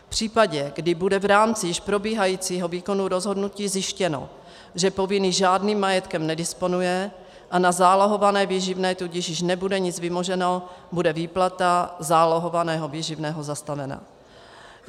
V případě, kdy bude v rámci již probíhajícího výkonu rozhodnutí zjištěno, že povinný žádným majetkem nedisponuje a na zálohované výživné tudíž již nebude nic vymoženo, bude výplata zálohovaného výživného zastavena.